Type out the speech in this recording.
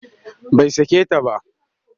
Bai sake ta ba